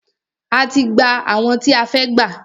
A ti gbà àwọn tí a fẹ́ gbà.